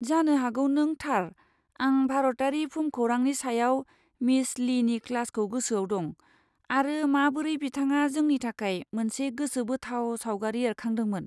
जानो हागौ नों थार! आं भारतारि भुमखौरांनि सायाव मिस लीनि क्लासखौ गोसोआव दं, आरो माबोरै बिथाङा जोंनि थाखाय मोनसे गोसोबोथाव सावगारि एरखांदोंमोन।